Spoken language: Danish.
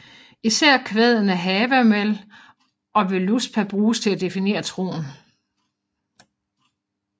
Især kvadene Havamál og Völuspá bruges til at definere troen